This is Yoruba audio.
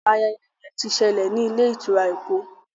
Ayeye yen tí ṣẹlẹ ní Ilé-ìtura Ẹkọ